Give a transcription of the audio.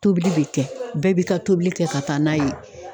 Tobili bi kɛ .Bɛɛ b'i ka tobili kɛ ka taa n'a ye